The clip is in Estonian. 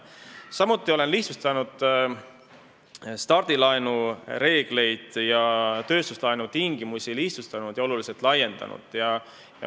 Samuti olen lihtsustanud stardilaenu reegleid ning lihtsustanud ja oluliselt laiendanud tööstuslaenu tingimusi.